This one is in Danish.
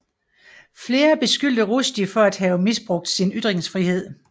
Flere beskyldte Rushdie for at have misbrugt sin ytringsfrihed